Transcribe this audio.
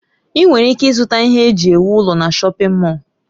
Ị nwere ike ịzụta ihe eji ewu ụlọ na shọpin Mọll.